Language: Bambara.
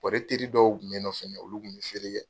ne teri dɔw tun bɛ n nɔfɛ mɛ olu kun bɛ feere kɛ.